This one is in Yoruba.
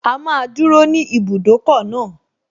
A máa dúró ní ibùdókọ̀ náà